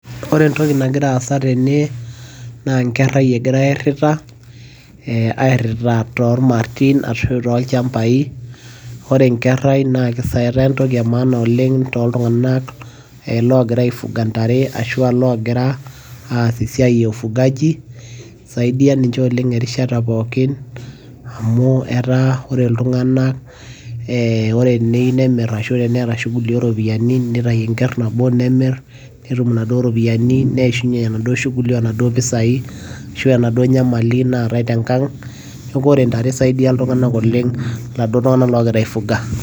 ore entoki nagira aasa tene naa nkerai egirae aerita. aerita toormartin ashu aa toolchampai, ore nkerai netaa entoki e maana oleng tooltunganak loogira aifuga ntare ashu aa loosita esiia e fugaji. isaidia ninche oleng erishata ooropiyiani amu etaa ore iltunganak ore teneyieu nemir ashu aa teneeta shughuli ooropiyiani, nitayu enker nabo nemir, neishunye enaduoo shughuli onaduoo pisai ashu enaduo nyamali naatae tenkang' neeku ore ntare isaidia iltunganak oleng' iladuo tung'anak oogira ai fuga.